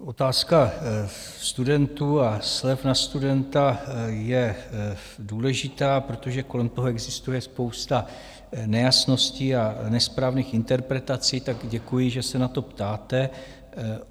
Otázka studentů a slev na studenta je důležitá, protože kolem toho existuje spousta nejasností a nesprávných interpretací, tak děkuji, že se na to ptáte.